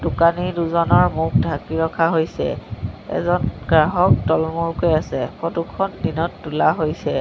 দোকানি দুজনৰ মুখ ঢাকি ৰাখি ৰখা হৈছে এজন গ্ৰাহক তলমূৰকৈ আছে ফটো খন দিনত তোলা হৈছে।